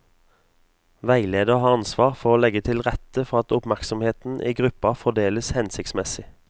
Veileder har ansvar for å legge til rette for at oppmerksomheten i gruppa fordeles hensiktsmessig.